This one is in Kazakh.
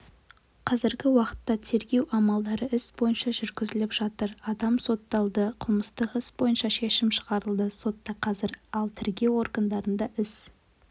қазіргі уақытта тергеу амалдары іс бойынша жүргізіліп жатыр адам сотталды қылмыстық іс бойынша шешім шығарылды сотта қазір ал тергеу органдарында іс